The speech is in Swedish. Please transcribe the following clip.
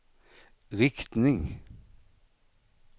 riktning